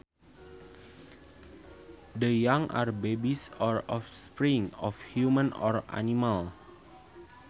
The young are babies or offspring of humans or animals